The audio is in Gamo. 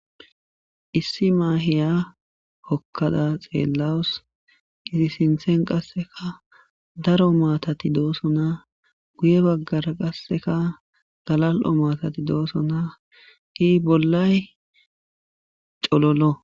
Issi maahiya hokkada xeellawus qisi sinthen qasseka daro maatati doosona guye baggara qasseka galal'o maatati doosonaki bollay cololo